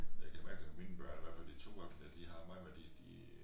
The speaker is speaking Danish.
Jeg kan mærke det på mine børn i hvert fald de 2 voksne de har meget med de de